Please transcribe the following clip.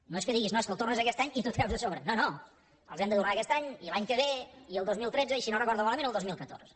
no és que diguis no és que ho tornes aquest any i t’ho treus de sobre no no els hem de tornar aquest any i l’any que ve i el dos mil tretze i si no recordo malament el dos mil catorze